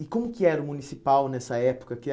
E como que era o Municipal nessa época que é?